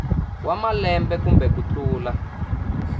wa malembe kumbe ku tlula